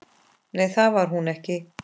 Nei, það var hún ekki.